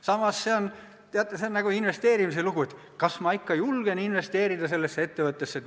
Samas, teate, see on nagu investeerimine: kas ma ikka julgen investeerida sellesse ettevõttesse?